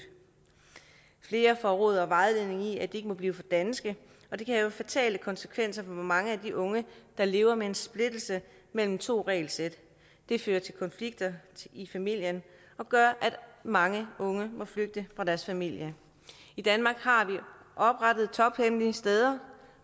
flere får råd og vejledning i at de ikke må blive for danske og det kan have fatale konsekvenser for mange af de unge der lever med en splittelse mellem to regelsæt det fører til konflikter i familien og gør at mange unge må flygte fra deres familie i danmark har vi oprettet tophemmelige steder